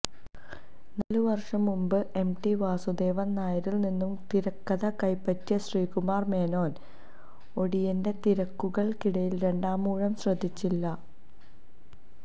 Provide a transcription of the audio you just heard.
നാലുവർഷം മുൻപ് M T Vasudevan നായരിൽ നിന്നും തിരക്കഥ കൈപ്പറ്റിയ ശ്രീകുമാർ മേനോൻ ഓടിയന്റെ തിരക്കുകൾക്കിടയിൽ രണ്ടാമൂഴം ശ്രദ്ധിച്ചില്ല